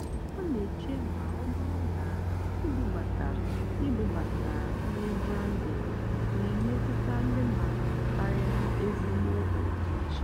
ọ́ nà-èché mà ọ́ bụ́rụ́ ná ìbúbátá ìbúbátá nrì’ brándìng nà-èmétụ́tá ndí mmádụ́ kàrị́á ézìgbò ọ́dị́íché.